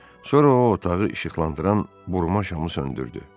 Sonra o otağı işıqlandıran burma şamı söndürdü.